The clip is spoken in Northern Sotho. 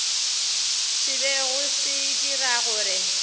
se bego se dira gore